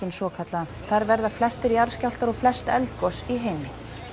svokallaða þar verða flestir jarðskjálftar og flest eldgos í heimi